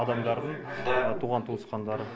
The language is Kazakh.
адамдардың туған туысқандары